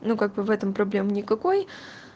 ну как бы в этом проблемы никакой